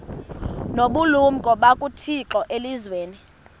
nobulumko bukathixo elizwini